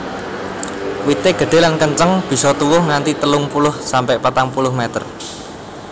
Wité gedhé lan kenceng bisa tuwuh nganti telung puluh sampe patang puluh meter